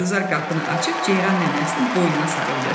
Gülzar qapını açıb Ceyran nənəsinin boynuna sarıldı.